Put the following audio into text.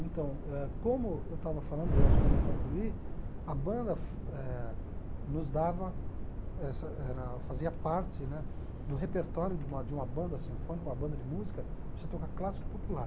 Então, ãh como eu estava falando, e acho que eu não concluí, a banda eh nos dava, essa era fazia parte né do repertório de uma de uma banda sinfônica, uma banda de música, você toca clássico popular.